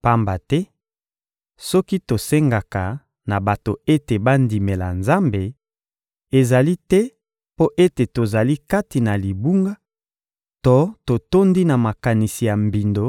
Pamba te, soki tosengaka na bato ete bandimela Nzambe, ezali te mpo ete tozali kati na libunga to totondi na makanisi ya mbindo